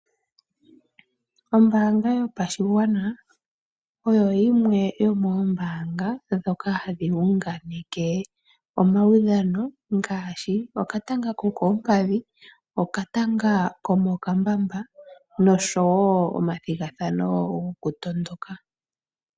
Ombaanga yopashigwana oyo yimwe yomoombanga ndhoka hadhi unganeke omaudhano ngaashi okatanga ko koompadhi, oka tanga komo kambamba noshowo omathigathano goku tondoka.